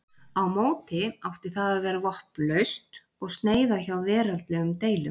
Á móti átti það að vera vopnlaust og sneyða hjá veraldlegum deilum.